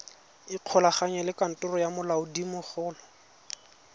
ikgolaganye le kantoro ya molaodimogolo